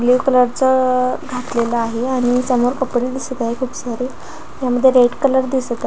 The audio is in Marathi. घातलेल आहे आणि समोर कपडे दिसत आहे खूप सारे ह्यामध्ये रेड कलर दिसत आहे.